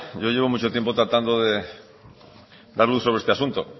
yo llevo mucho tiempo tratando de dar luz sobre este asunto